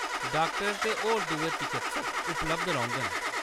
Doctor ते होर दुए चकित्सक उपलब्ध रौह्ङन।